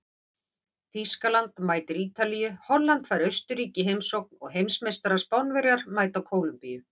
Þýskaland mætir Ítalíu, Holland fær Austurríki í heimsókn og heimsmeistarar Spánverjar mæta Kólumbíu.